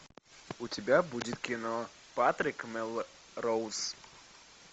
у тебя будет кино патрик мелроуз